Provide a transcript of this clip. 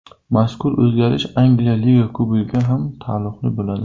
Mazkur o‘zgarish Angliya Liga Kubogiga ham taalluqli bo‘ladi.